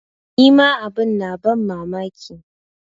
Ni ma abin na ban mamaki.